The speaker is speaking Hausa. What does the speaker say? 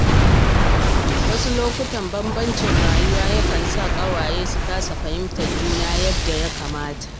Wasu lokuta, bambancin rayuwa yana sa ƙawaye su kasa fahimtar juna yadda ya kamata.